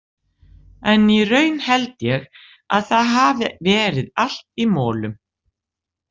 En í raun held ég að það hafi verið allt í molum.